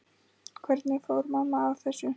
Hvernig fór mamma að þessu?